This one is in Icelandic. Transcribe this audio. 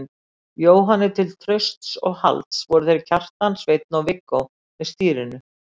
Jóhanni til trausts og halds fóru þeir Kjartan, Sveinn og Viggó með stýrinu.